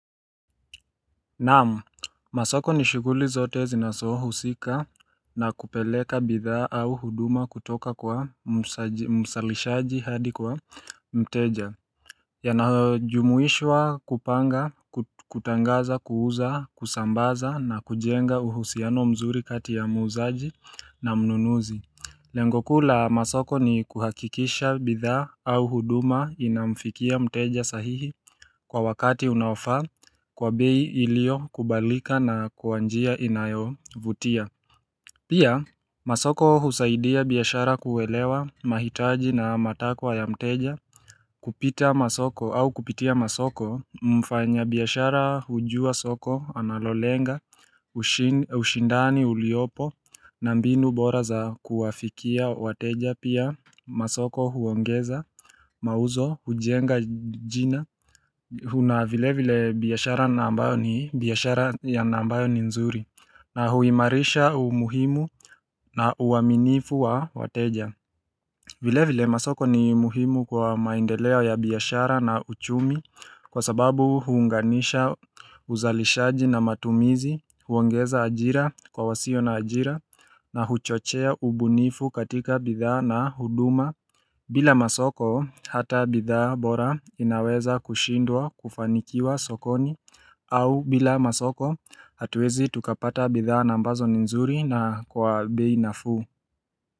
Naam, masoko ni shughuli zote zinasohusika na kupeleka bidhaa au huduma kutoka kwa msalishaji hadi kwa mteja Yanajumuishwa kupanga, kutangaza, kuuza, kusambaza na kujenga uhusiano mzuri kati ya muuzaji na mnunuzi Lengo kuu la masoko ni kuhakikisha bidhaa au huduma inamfikia mteja sahihi kwa wakati unaofaa kwa bei iliokubalika na kwa njia inayovutia Pia masoko husaidia biashara kuelewa mahitaji na matakwa ya mteja kupita masoko au kupitia masoko mfanyabiashara hujua soko analolenga ushindani uliopo na mbinu bora za kuwafikia wateja pia masoko huongeza mauzo hujenga jina kuna vile vile biashara na ambayo ni biashara ya na ambayo ni nzuri na huimarisha umuhimu na uaminifu wa wateja vile vile masoko ni muhimu kwa maendeleo ya biashara na uchumi kwa sababu huunganisha uzalishaji na matumizi, huongeza ajira kwa wasio na ajira na huchochea ubunifu katika bidhaa na huduma bila masoko hata bidhaa bora inaweza kushindwa kufanikiwa sokoni au bila masoko hatuwezi tukapata bidhaa na ambazo ni nzuri na kwa bei nafuu.